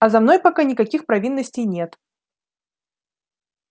а за мной пока никаких провинностей нет